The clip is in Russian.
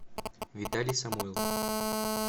виталий самойлов